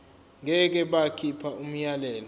ngeke bakhipha umyalelo